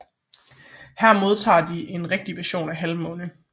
Her modtager de en rigtig vision af Halvmåne